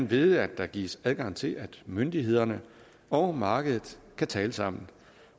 ved at der gives adgang til at myndighederne og markedet kan tale sammen